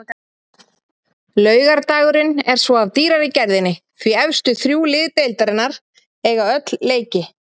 Laugardagurinn er svo af dýrari gerðinni því efstu þrjú lið deildarinnar eiga öll leiki.